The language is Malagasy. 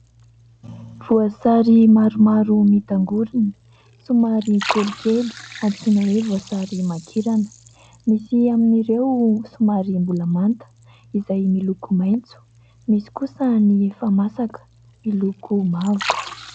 Voasary maromaro mitangoriny somary kelikely antsoina hoe voasary makirana, misy amin'ireo somary mbola manta izay miloko maitso, misy kosa ny efa masaka miloko mavo.